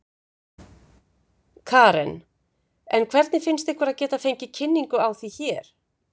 Karen: En hvernig finnst ykkur að geta fengið kynningu á því hér?